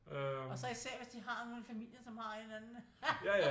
Og så især hvis de har nogen i familien som har en eller anden